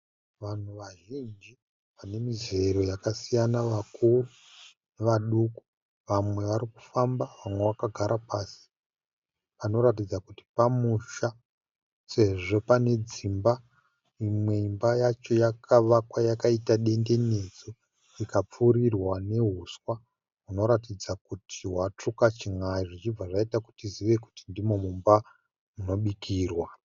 Vanhu vazhinji vane mizero yakasiyana vakuru nevaduku. Vamwe vari kufamba . Vamwe vakagara pasi panoratidza kuti pamusha sezvo pane dzimba. Imwe imba yacho yakavakwa yakaita dendenedzwa ikapfurirwa nehuswa hunoratidza kuti hwatsvuka chin'ai zvichibva zvaita kuti tizive kuti ndimo mumba munobikirwa.